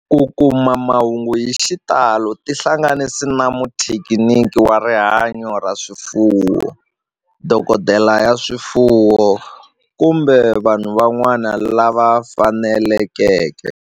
Ku kuma mahungu hi xitalo tihlanganisi na muthekiniki wa rihanyo ra swifuwo, dokodela ya swifuwo, kumbe vanhu van'wana lava fanelekeke